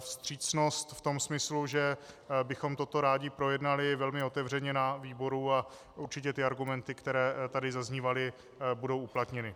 vstřícnost v tom smyslu, že bychom toto rádi projednali velmi otevřeně na výboru, a určitě ty argumenty, které tady zaznívaly, budou uplatněny.